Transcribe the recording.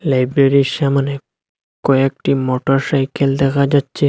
লাইব্রেরীর -এর সামোনে কয়েকটি মটরসাইকেল দেখা যাচ্চে।